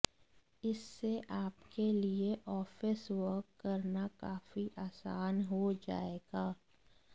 इससे आपके लिए ऑफिस वर्क करना काफी आसान हो जाएगा